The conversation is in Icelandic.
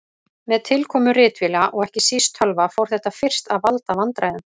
Með tilkomu ritvéla og ekki síst tölva fór þetta fyrst að valda vandræðum.